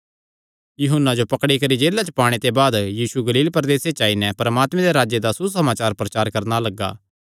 यूहन्ना जो पकड़ी करी जेला च पाणे ते बाद यीशु गलील प्रदेसे च आई नैं परमात्मे दे राज्जे दा सुसमाचार प्रचार करणा लग्गा